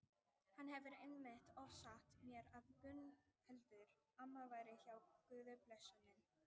Hann hefur einmitt oft sagt mér að Gunnhildur amma væri hjá Guði blessunin.